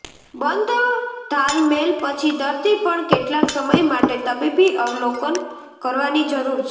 બંધ ઘાલમેલ પછી દર્દી પણ કેટલાક સમય માટે તબીબી અવલોકન કરવાની જરૂર છે